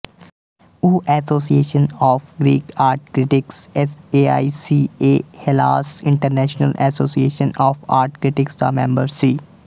ਉਹ Association of Greek Art Critics AICA Hellas International Association of Art Critics ਦਾ member ਸੀ